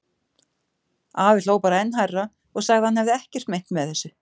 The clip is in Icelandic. Afi hló bara enn hærra og sagði að hann hefði ekkert meint með þessu.